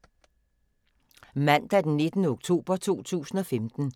Mandag d. 19. oktober 2015